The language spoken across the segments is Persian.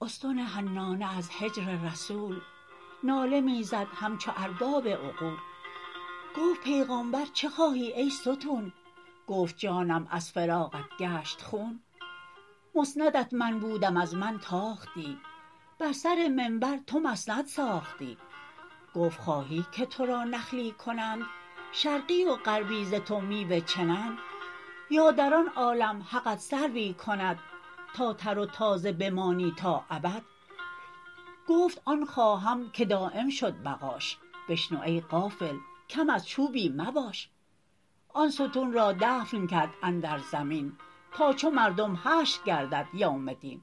استن حنانه از هجر رسول ناله می زد همچو ارباب عقول گفت پیغامبر چه خواهی ای ستون گفت جانم از فراقت گشت خون مسندت من بودم از من تاختی بر سر منبر تو مسند ساختی گفت خواهی که ترا نخلی کنند شرقی و غربی ز تو میوه چنند یا در آن عالم حقت سروی کند تا تر و تازه بمانی تا ابد گفت آن خواهم که دایم شد بقاش بشنو ای غافل کم از چوبی مباش آن ستون را دفن کرد اندر زمین تا چو مردم حشر گردد یوم دین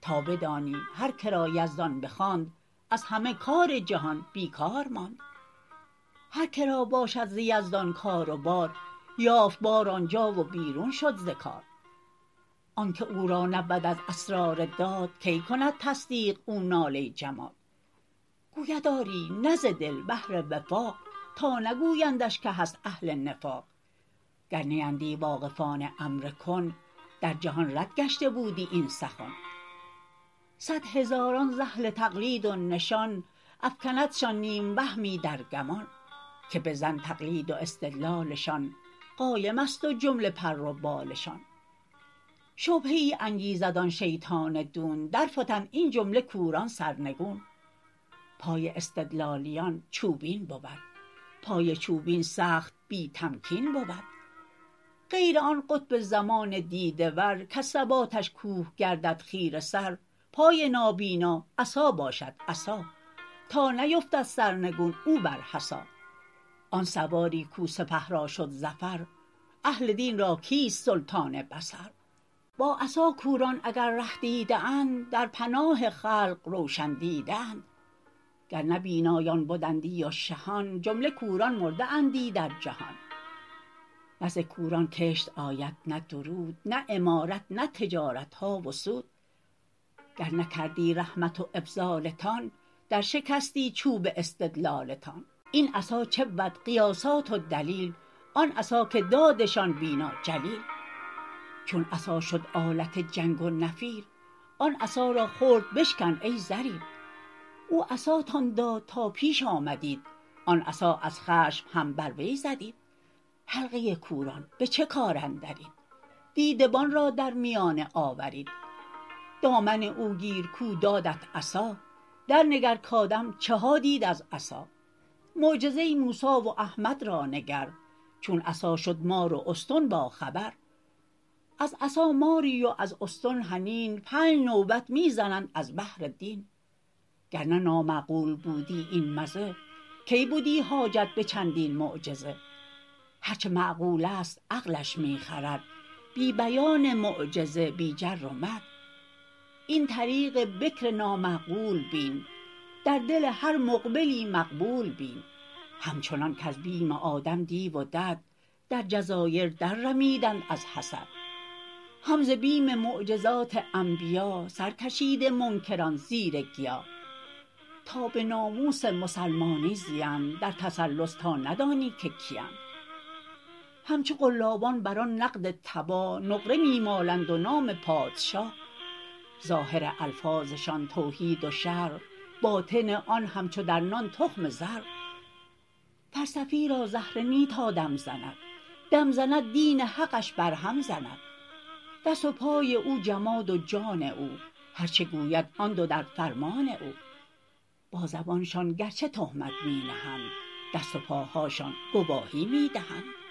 تا بدانی هر که را یزدان بخواند از همه کار جهان بی کار ماند هر که را باشد ز یزدان کار و بار یافت بار آنجا و بیرون شد ز کار آنک او را نبود از اسرار داد کی کند تصدیق او ناله جماد گوید آری نه ز دل بهر وفاق تا نگویندش که هست اهل نفاق گر نیندی واقفان امر کن در جهان رد گشته بودی این سخن صد هزاران ز اهل تقلید و نشان افکندشان نیم وهمی در گمان که به ظن تقلید و استدلالشان قایمست و جمله پر و بالشان شبهه ای انگیزد آن شیطان دون درفتند این جمله کوران سرنگون پای استدلالیان چوبین بود پای چوبین سخت بی تمکین بود غیر آن قطب زمان دیده ور کز ثباتش کوه گردد خیره سر پای نابینا عصا باشد عصا تا نیفتد سرنگون او بر حصا آن سواری کاو سپه را شد ظفر اهل دین را کیست سلطان بصر با عصا کوران اگر ره دیده اند در پناه خلق روشن دیده اند گر نه بینایان بدندی و شهان جمله کوران مرده اندی در جهان نه ز کوران کشت آید نه درود نه عمارت نه تجارتها و سود گر نکردی رحمت و افضالتان در شکستی چوب استدلالتان این عصا چه بود قیاسات و دلیل آن عصا که دادشان بینا جلیل چون عصا شد آلت جنگ و نفیر آن عصا را خرد بشکن ای ضریر او عصاتان داد تا پیش آمدیت آن عصا از خشم هم بر وی زدیت حلقه کوران به چه کار اندرید دیدبان را در میانه آورید دامن او گیر کاو دادت عصا در نگر کادم چه ها دید از عصا معجزه موسی و احمد را نگر چون عصا شد مار و استن با خبر از عصا ماری و از استن حنین پنج نوبت می زنند از بهر دین گرنه نامعقول بودی این مزه کی بدی حاجت به چندین معجزه هرچه معقولست عقلش می خورد بی بیان معجزه بی جر و مد این طریق بکر نامعقول بین در دل هر مقبلی مقبول بین همچنان کز بیم آدم دیو و دد در جزایر در رمیدند از حسد هم ز بیم معجزات انبیا سر کشیده منکران زیر گیا تا به ناموس مسلمانی زیند در تسلس تا ندانی که کیند همچو قلابان بر آن نقد تباه نقره می مالند و نام پادشاه ظاهر الفاظشان توحید و شرع باطن آن همچو در نان تخم صرع فلسفی را زهره نه تا دم زند دم زند دین حقش بر هم زند دست و پای او جماد و جان او هر چه گوید آن دو در فرمان او با زبانشان گرچه تهمت می نهند دست و پاهاشان گواهی می دهند